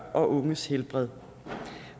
og unges helbred